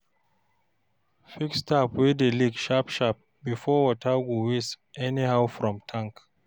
fix tap wey dey leak sharp sharp bifor water go waste anyhow from tank